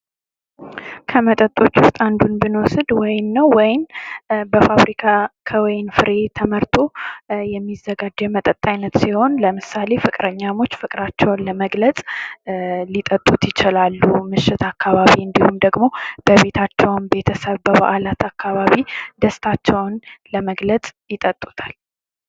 ከመጠጦች ዉስጥ አንዱ ብንወስድ አንዱ ወይን ነዉ። ወይን በፋብሪካ ከወይን ፍሬ መርቶ የሚዘጋድ የመጠጥ አይነት ሲሆን ለምሳሌ ፍቅረኛሞች ፍቅራቸዉን ለግመለፅ ሊጠጡት ይችላሉ። ምሽት አካባቢም እንዲሁም ደግሞ በቤታቸዉ ቤተሰብ አካባቢ ለበዓል ሊጠጡት ይችላሉ።